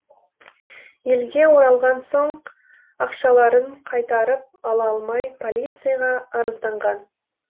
елге оралған соң ақшаларын қайтарып ала алмай полицияға арызданған